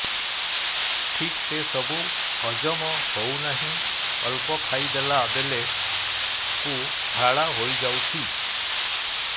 ଠିକସେ ସବୁ ହଜମ ହଉନାହିଁ ଅଳ୍ପ ଖାଇ ଦେଲା ବେଳ କୁ ଝାଡା ହେଇଯାଉଛି